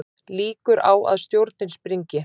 Líkur á að stjórnin springi